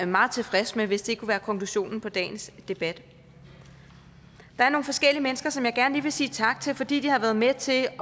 meget tilfreds med hvis det kunne være konklusionen på dagens debat der er nogle forskellige mennesker som jeg gerne lige vil sige tak til fordi de har været med til at